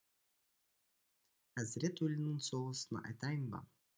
әзірет өлінің соғысын айтайын ба